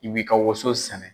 I b'i ka waso sɛnɛ.